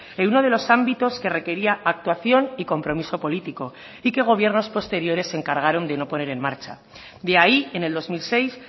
en uno de los ámbitos que requería actuación y compromiso político y que gobiernos posteriores se encargaron de no poner en marcha de ahí en el dos mil seis